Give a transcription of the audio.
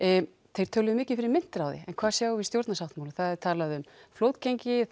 þeir töluðu mikið fyrir myntráði en hvað sjáum við í stjórnarsáttmálanum það er talað um flotgengi